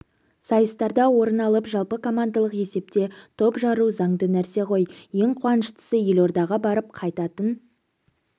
сайыстарда орын алып жалпыкомандалық есепте топ жару заңды нрсе ғой ең қуаныштысы елордаға барып қайтатын